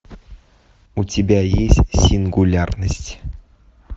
у тебя есть сингулярность